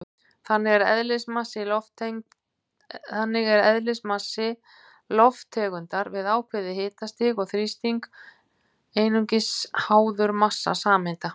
Þannig er eðlismassi lofttegundar við ákveðið hitastig og þrýsting einungis háður massa sameindanna.